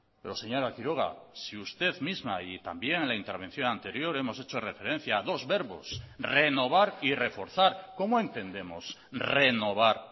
pero señora quiroga si usted misma y también en la intervención anterior hemos hecho referencia a dos verbos renovar y reforzar cómo entendemos renovar